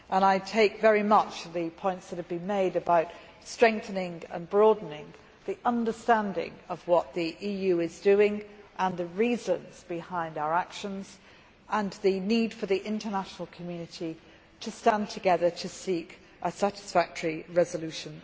I take very much the points that have been made about strengthening and broadening the understanding of what the EU is doing, the reasons behind our actions and the need for the international community to stand together to seek a satisfactory resolution.